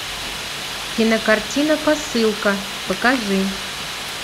кинокартина посылка покажи